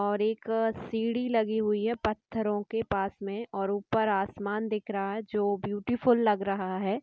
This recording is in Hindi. और एक सीडी लगी हुई है पत्थरों के पास में और ऊपर आसमान दिख रहा जो ब्यूटीफुल लग रहा है|